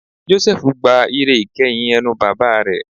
Jósẹ́fù gba ìre ìkeyìn ẹnu bàbá rẹ̀